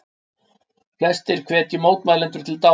Flestir hvetji mótmælendur til dáða